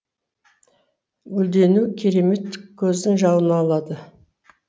гүлденуі керемет көздің жауын алады